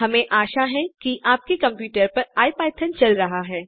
हमें आशा है की आपके कम्प्यूटर पर इपिथॉन चल रहा है